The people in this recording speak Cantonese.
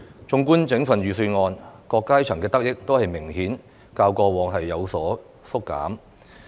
綜觀整份預算案，各階層的得益都較過往明顯有所縮減。